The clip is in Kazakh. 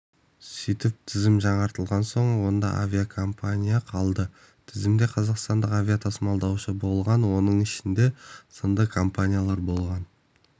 сөйтіп тізім жаңартылған соң онда авиакомпания қалды тізімінде қазақстандық авиатасымалдаушы болған оның ішінде сынды компаниялар болған